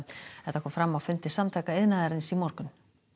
þetta kom fram á fundi Samtaka iðnaðarins í morgun